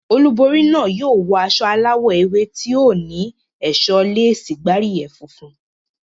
Olúborí náà yóò wọ aṣọ aláwọ̀ ewé tí ó ní ẹ̀ṣọ́ léèsì gbáríyẹ̀ funfun.